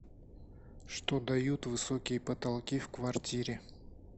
что дают высокие потолки в квартире